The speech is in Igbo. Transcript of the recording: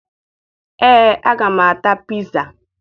Ee, aga m ata piza